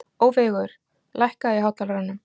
Ófeigur, lækkaðu í hátalaranum.